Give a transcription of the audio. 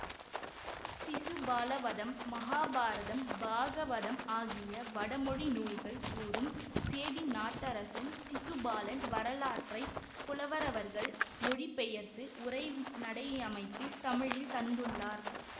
சிசுபாலவதம் மகாபாரதம் பாகவதம் ஆகிய வடமொழி நூல்கள் கூறும் சேதினாட்டரசன் சிசுபாலன் வரலாற்றை புலவரவர்கள் மொழிபெயர்த்து உரைநடையமைப்பில் தமிழில் தந்துள்ளார்